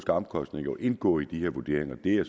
omkostninger jo indgå i de her vurderinger det er